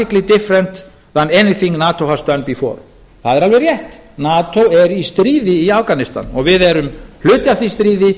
different than anything nato has done before það er alveg rétt nato er í stríði í afganistan og við erum hluti af því stríði